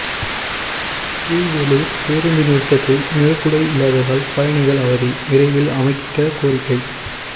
கீழ்வேளூர் பேருந்து நிறுத்தத்தில் நிழற்குடை இல்லாததால் பயணிகள் அவதி விரைவில் அமைக்க கோரிக்கை